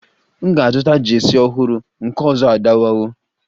M ga-azụta Jeesi ọhụrụ, nke ọzọ adọwawo